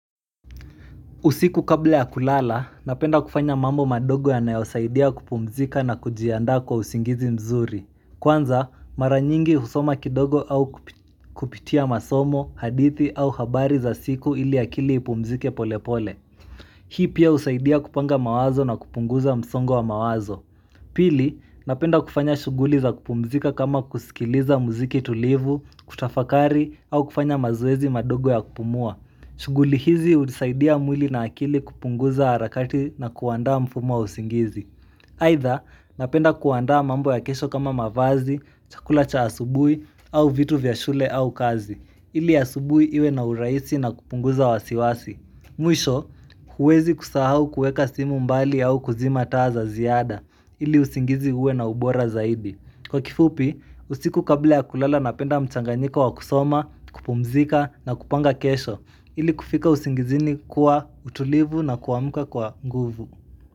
Usiku kabla ya kulala, napenda kufanya mambo madogo yanayosaidia kupumzika na kujianda kwa usingizi mzuri. Kwanza, mara nyingi husoma kidogo au kupitia masomo, hadithi au habari za siku ili akili ipumzike pole pole. Hii pia usaidia kupanga mawazo na kupunguza msongo wa mawazo. Pili, napenda kufanya shuguli za kupumzika kama kusikiliza muziki tulivu, kutafakari au kufanya mazoezi madogo ya kupumua. Shuguli hizi uzisaidia mwili na akili kupunguza harakati na kuanda mfumo wa usingizi Haidha, napenda kuandaa mambo ya kesho kama mavazi, chakula cha asubuhi, au vitu vya shule au kazi ili asubuhi iwe na urahisi na kupunguza wasiwasi Mwisho, huwezi kusahau kuweka simu mbali au kuzima taa za ziada ili usingizi uwe na ubora zaidi Kwa kifupi, usiku kabla ya kulala napenda mchanganyiko wa kusoma, kupumzika na kupanga kesho ili kufika usingizini kwa utulivu na kuamka kwa nguvu.